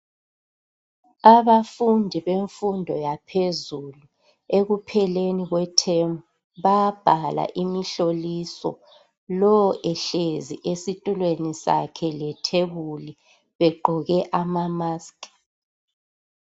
Abafundi bemfundo yaphezulu ekupheleni kwethemu bayabhala imihloliso lowo ehlezi esitulweni sakhe lethebuli begqoke ama mask